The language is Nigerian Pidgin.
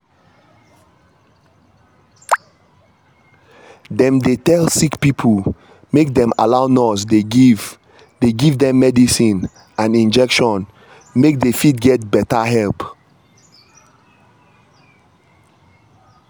dem dey tell sick pipo make dem allow nurse dey give dey give dem medicine and injection make dey fit get better help